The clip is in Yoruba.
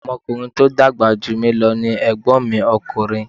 Ọmọ ọkùnrin tí o dàgbà jù mí lo ni Ègbón mi ọkùnrin